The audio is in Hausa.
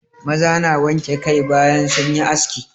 Maza na wanke kai bayan sun yi aski.